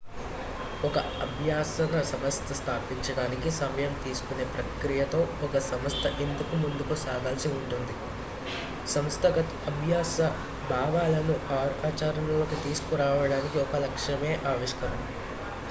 ఒక అభ్యసన సంస్థను స్థాపించడానికి సమయం తీసుకునే ప్రక్రియతో ఒక సంస్థ ఎందుకు ముందుకు సాగాల్సి ఉంటుంది సంస్థాగత అభ్యసన భావనలను ఆచరణలోకి తీసుకురావడానికి ఒక లక్ష్యమే ఆవిష్కరణ